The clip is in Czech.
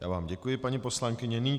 Já vám děkuji, paní poslankyně.